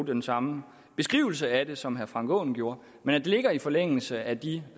den samme beskrivelse af det som herre frank aaen gjorde men det ligger i forlængelse af de